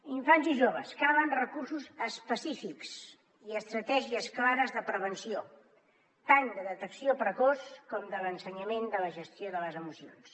infants i joves calen recursos específics i estratègies clares de prevenció tant de detecció precoç com de l’ensenyament de la gestió de les emocions